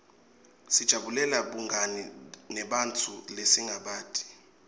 sijabulela bungani nebantfu lesingabati